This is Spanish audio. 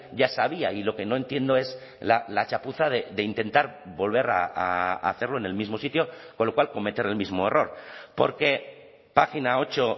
ya sabía y lo que no entiendo es la chapuza de intentar volver a hacerlo en el mismo sitio con lo cual cometer el mismo error porque página ocho